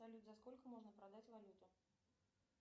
салют за сколько можно продать валюту